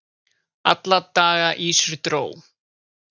Alla daga ýsur dró